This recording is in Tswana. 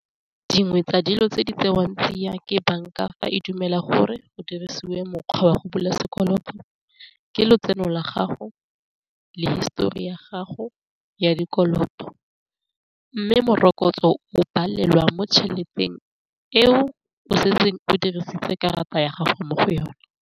Dingwe tsa dilo tse di tsewang tseiwang ke banka fa e dumela gore go dirisiwe mokgwa wa go bula sekoloto ke lotseno la gago le histori ya gago ya dikoloto, mme morokotso o balelwa mo tšheleteng eo o setseng o dirisitse karata ya gago mo go yone.